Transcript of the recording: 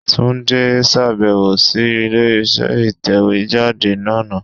Túndé sàbẹ̀wò sí ilé iṣẹ́ ìtẹ̀wé jáde náà